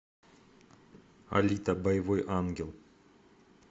алита боевой ангел